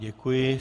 Děkuji.